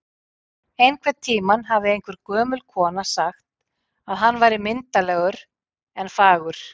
Einhvern tímann hafði einhver gömul kona sagt að hann væri myndarlegur en fagur